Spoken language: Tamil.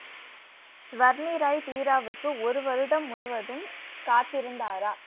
வர்ணீராய் பீராவுக்கு ஒரு வருடம் முழுவதும் காத்திருந்தாரா